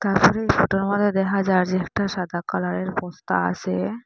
উপরে এই ফোটো -এর মধ্যে দেখা যার যে একটা সাদা কালার -এর বস্তা আসে।